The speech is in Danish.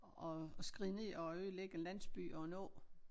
At at skride ned og ødelægge en landsby og en å